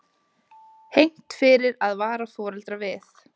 Hegnt fyrir að vara foreldra við